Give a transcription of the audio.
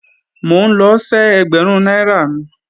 Mò ń lọ ṣẹ́ ẹgbẹ̀rún náírà mi